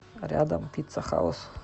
рядом пицца хаус